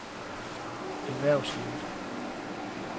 erhvervslivet